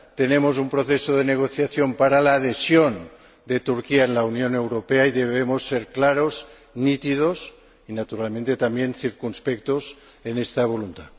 Tenemos un proceso de negociación para la adhesión de Turquía en la Unión Europea y debemos ser claros, nítidos y naturalmente también circunspectos en esta voluntad.